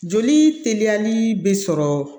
Joli teliya ni be sɔrɔ